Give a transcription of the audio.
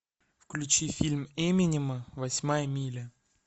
включи фильм эминема восьмая миля